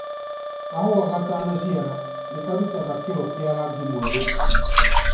Kahũwa ga tana ciara nĩ karutaga kĩro kĩa rangi mwerũ